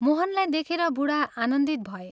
मोहनलाई देखेर बूढा आनन्दित भए।